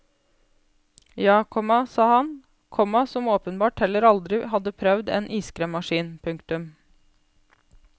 Ja, komma sa han, komma som åpenbart heller aldri hadde prøvd en iskremmaskin. punktum